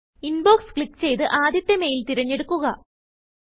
inbox click ചെയ്ത്ആദ്യത്തെ mail തിരഞ്ഞെടുക്കുക